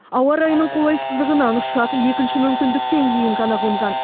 ауа райының қолайсыздығынан ұшақ екінші мүмкіндіктен кейін ғана қонған